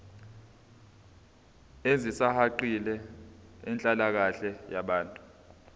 ezisihaqile zenhlalakahle yabantu